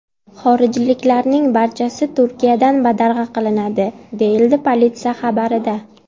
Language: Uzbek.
Xorijliklarning barchasi Turkiyadan badarg‘a qilinadi”, deyiladi politsiya xabarida.